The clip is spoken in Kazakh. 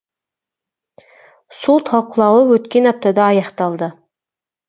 сот талқылауы өткен аптада аяқталды